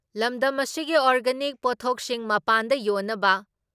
ꯂꯝꯗꯝ ꯑꯁꯤꯒꯤ ꯑꯣꯔꯒꯅꯥꯅꯤꯛ ꯄꯣꯊꯣꯛꯁꯤꯡ ꯃꯄꯥꯟꯗ ꯌꯣꯟꯅꯕ